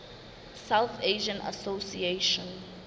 south asian association